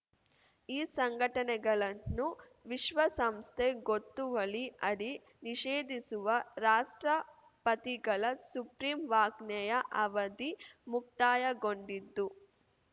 ಈ ಸಂಘಟನೆಗಳನ್ನು ವಿಶ್ವಸಂಸ್ಥೆ ಗೊತ್ತುವಳಿ ಅಡಿ ನಿಷೇಧಿಸುವ ರಾಷ್ಟ್ರಪತಿಗಳ ಸುಗ್ರೀವಾಜ್ಞೆಯ ಅವಧಿ ಮುಕ್ತಾಯಗೊಂಡಿದ್ದು